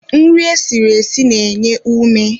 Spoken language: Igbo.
Nri esiri esi na-enye ume